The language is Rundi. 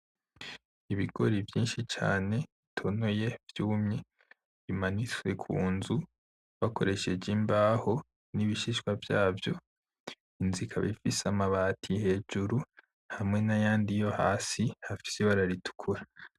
Ibigori vyinshi cane bitonoye vyumye, bimanitswe ku nzu bakoresheje imbaho n’ibishishwa vyazo. Inzu ikaba ifise amabati hejuru hamwe n’ayandi yo hasi afise ibara ritukura.